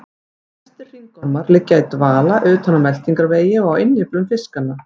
Flestir hringormar liggja í dvala utan á meltingarvegi og á innyflum fiskanna.